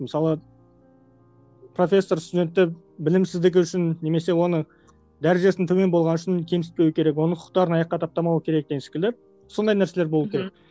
мысалы профессор студентті білімсіздігі үшін немесе оны дәрежесінің төмен болғаны үшін кемсітпеу керек оны құқықтарын аяққа таптамау керек деген секілді сондай нәрселер болуы керек